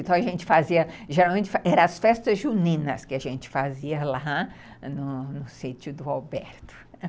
Então, a gente fazia... Geralmente, eram as festas juninas que a gente fazia lá no sítio do Alberto.